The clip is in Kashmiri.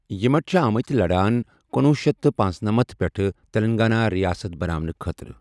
یِمٹ چھِ آمٕتی لڈان کنۄہُ شیتھ تہٕ پنٔژنَمتھ پیٹھہٕ تِلَنٛگانا رِیاسَتھ بناونٕہ خٲطرٕ۔